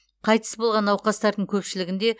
қайтыс болған науқастардың көпшілігінде